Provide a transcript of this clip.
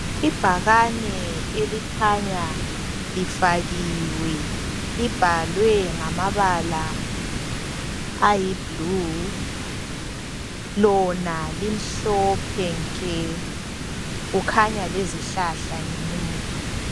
Ibhakane elikhanya lifakiwe libhalwe ngamabala ayiblue. Lona limhlophe nke kukhanya lezihlahla ngemuva .